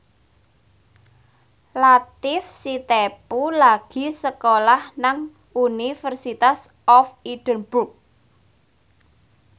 Latief Sitepu lagi sekolah nang University of Edinburgh